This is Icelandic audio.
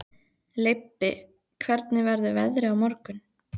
Leibbi, hvernig verður veðrið á morgun?